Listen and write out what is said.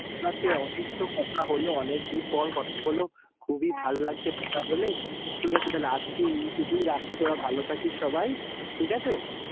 অনেক তো কথা হলো, অনেক দিন পর কথা হলো। হ্যাঁ, খূবই ভাল লাগছে কথা বলে। হ্যাঁ, ঠিক আছে তাহলে আজকে এই টুকুই রাখি, তোরা ভালো থাকি সবাই, ঠিক আছে? হ্যাঁ।